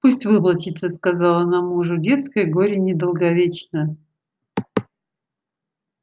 пусть выплачется сказала она мужу детское горе недолговечно